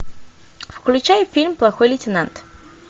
включай фильм плохой лейтенант